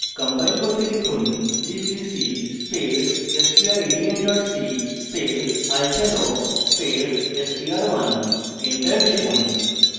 compile করতে লিখুন gcc space strlen c space o space str1 enter টিপুন